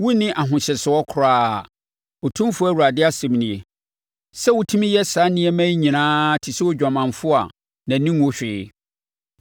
“ ‘Wonni ahohyɛsoɔ koraa, Otumfoɔ Awurade asɛm nie, sɛ wotumi yɛ saa nneɛma yi nyinaa te sɛ odwamanfoɔ a nʼani nwu hwee.